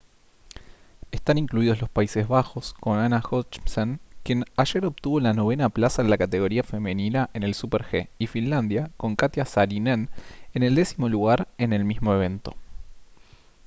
están incluidos los países bajos con anna jochemsen quien ayer obtuvo la novena plaza en la categoría femenina en el super-g y finlandia con katjia saarinen en el décimo lugar en el mismo evento